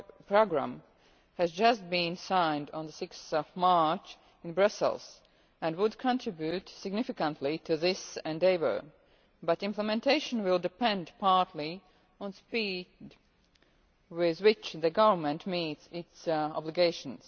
Programme has just been signed on 6 March in Brussels and would contribute significantly to this endeavour, but implementation will depend partly on the speed with which the government meets its obligations.